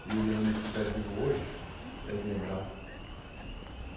Se ele ainda estiver vivo hoje, deve lembrar.